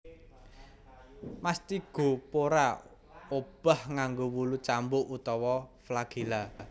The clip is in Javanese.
Mastigophora obah nganggo wulu cambuk utawa flagela